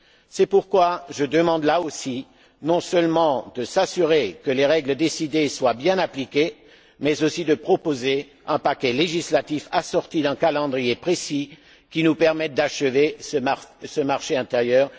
C'est pourquoi je demande là aussi non seulement de s'assurer que les règles décidées soient bien appliquées, mais aussi de proposer un paquet législatif assorti d'un calendrier précis qui nous permette d'achever ce marché intérieur.